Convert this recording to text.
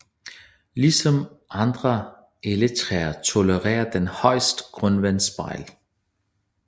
Ligesom andre Elletræer tolererer den højt grundvandsspejl